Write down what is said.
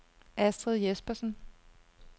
Astrid Jespersen